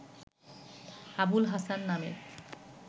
আবুল হাসান নামে